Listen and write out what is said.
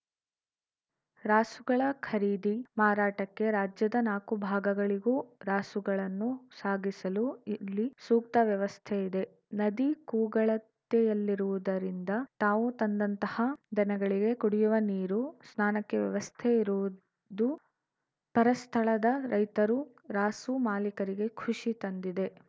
ರಾಸುಗಳ ಖರೀದಿ ಮಾರಾಟಕ್ಕೆ ರಾಜ್ಯದ ನಾಕು ಭಾಗಗಳಿಗೂ ರಾಸುಗಳನ್ನು ಸಾಗಿಸಲು ಇಲ್ಲಿ ಸೂಕ್ತ ವ್ಯವಸ್ಥೆ ಇದೆ ನದಿ ಕೂಗಳತೆಯಲ್ಲಿರುವುದರಿಂದ ತಾವು ತಂದಂತಹ ದನಗಳಿಗೆ ಕುಡಿಯುವ ನೀರು ಸ್ನಾನಕ್ಕೆ ವ್ಯವಸ್ಥೆ ಇರುವುದೂ ಪರಸ್ಥಳದ ರೈತರು ರಾಸು ಮಾಲೀಕರಿಗೆ ಖುಷಿ ತಂದಿದೆ